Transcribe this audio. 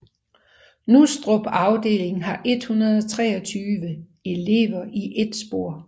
Nustrup afdeling har 123 elever i ét spor